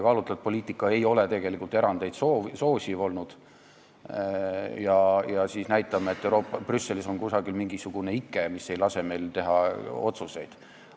Kaalutletud poliitika ei soosi tegelikult erandeid, aga meie näitame, et Brüssel on meile kaela pannud mingisuguse ikke, mis ei lase meil oma otsuseid teha.